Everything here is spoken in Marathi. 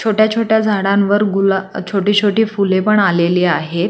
छोट्या छोट्या झाडांवर गुला छोटी छोटी फुले पण आलेली आहे.